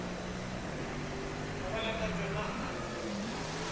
robala ka tšona a nno